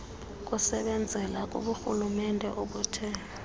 kusebenzela kuburhulumente obuthe